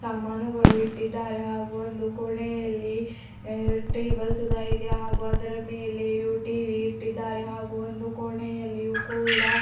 ಸಾಮಾನುಗಳು ಇಟ್ಟಿದ್ದಾರೆ ಹಾಗು ಒಂದು ಕೋಣೆಯಲ್ಲಿ ಎ ಟೇಬಲ್ ಸುದ ಇದೆ ಹಾಗು ಅದರ ಮೇಲೆ ಯು ಟಿ_ವಿ ಇಟ್ಟಿದ್ದಾರೆ ಹಾಗು ಒಂದು ಕೋಣೆಯಲ್ಲಿಯು ಕೂಡ --